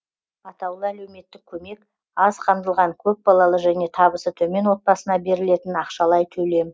атаулы әлеуметтік көмек аз қамтылған көпбалалы және табысы төмен отбасына берілетін ақшалай төлем